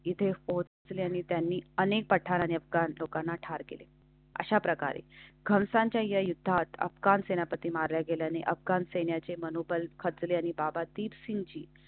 तिथे पोहोचले आणि त्यांनी अनेक पठाण अफगाण लोकांना ठार केले. अशा प्रकारे कंसांच्या या युद्धात अपकार सेनापती मारल्या गेल्याने अफगाण सैन्याचे मनोबल खचले आणि बाबातीत सिंघजी.